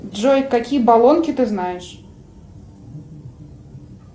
джой какие болонки ты знаешь